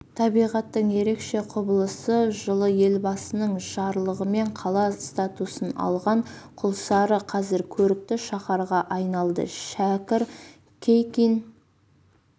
табиғаттың ерекше құбылысы жылы елбасының жарлығымен қала статусын алған құлсары қазір көрікті шаһарға айналды шәкір кейкин